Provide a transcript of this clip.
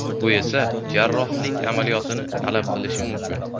Bu esa jarrohlik amaliyotini talab qilishi mumkin.